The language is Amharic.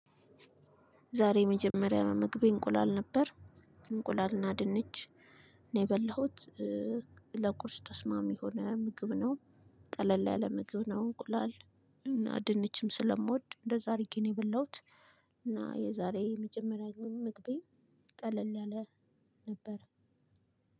ዛሬ የመጀመሪያው ምግቤ እንቁላል ነበር። እንቁላልና ድንች ነው የበላሁት። ለቁርስ ተስማሚ የሆነ ምግብ ነው። ቀላል ያለ ምግብ ነው እንቁላል። እና ድንችም ስለምወድ እንደዛ አድርጌ ነው የበላሁት። እና የዛሬ የመጀመሪያ ምግቤ ቀላል ያለ ነበር።